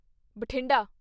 Bathinda